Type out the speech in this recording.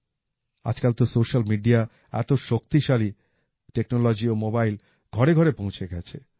আজকাল তো social media এত শক্তিশালী টেকনোলজি ও মোবাইল ঘরে ঘরে পৌঁছে গেছে